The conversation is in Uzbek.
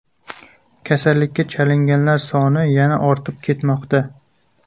Kasallikka chalinganlar soni yana ortib ketmoqda.